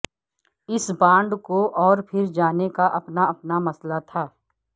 اس bond کو اور پھر جانے کا اپنا اپنا مسئلہ تھا